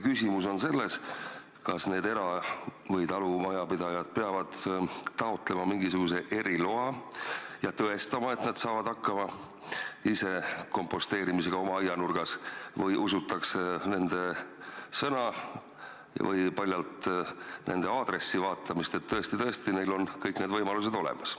Küsimus on, kas need inimesed peavad taotlema mingisuguse eriloa ja tõestama, et nad saavad ise aianurgas kompostimisega hakkama, või usutakse nende sõna paljalt selle peale, et on nende aadressi vaadatud ja nähtud, et tõesti-tõesti, neil on kõik võimalused selleks olemas.